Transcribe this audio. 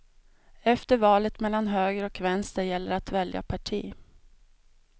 Efter valet mellan höger och vänster gäller att välja parti.